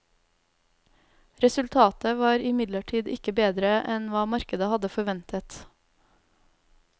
Resultatet var imidlertid ikke bedre enn hva markedet hadde forventet.